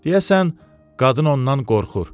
Deyəsən, qadın ondan qorxur.